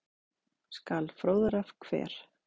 skal fróðra hver